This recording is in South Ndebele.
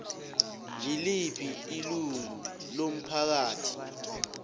ngiliphi ilungu lomphakathi